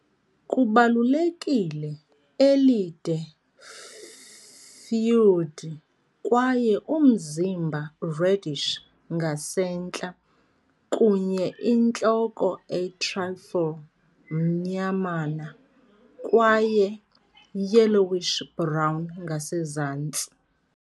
Kubalulekile elide-furred kwaye umzimba reddish ngasentla, kunye intloko a trifle mnyamana, kwaye yellowish-brown ngasezantsi.